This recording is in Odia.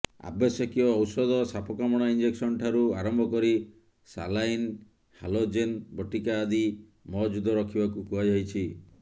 ଆବଶ୍ୟକୀୟ ଔଷଧ ସାପକାମୁଡା ଇଂଜେକ୍ସନ ଠାରୁ ଆରମ୍ଭ କରି ସାଲାଇନ ହାଲୋଜେନ ବଟିକା ଆଦି ମହଜୁଦ ରଖିବାକୁ କୁହାଯାଇଛି